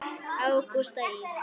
Ágústa Ýr.